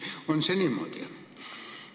On see niimoodi?